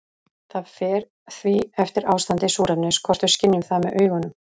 Það fer því eftir ástandi súrefnis hvort við skynjum það með augunum.